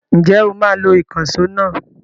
Ǹjẹ́ o máa lo ìkànṣó náà?